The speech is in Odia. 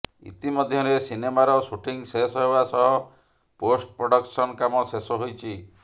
ଇତିମଧ୍ୟରେ ସିନେମାର ସୁଟିଂ ଶେଷ ହେବା ସହ ପୋଷ୍ଟ ପ୍ରଡକସନ କାମ ଶେଷ ହୋଇଛି